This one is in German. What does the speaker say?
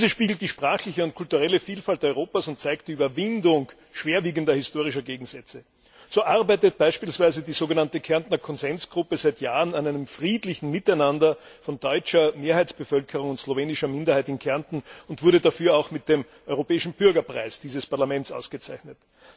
Diese spiegelt die sprachliche und kulturelle Vielfalt Europas wider und zeigt die Überwindung schwerwiegender historischer Gegensätze. So arbeitet beispielsweise die sogenannte Kärntner Konsensgruppe seit Jahren an einem friedlichen Miteinander von deutscher Mehrheitsbevölkerung und slowenischer Minderheit in Kärnten und wurde dafür auch mit dem Europäischen Bürgerpreis dieses Parlaments ausgezeichnet.